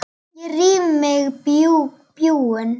Ég ríf í mig bjúgun.